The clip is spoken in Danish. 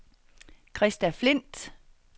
Krista Flindt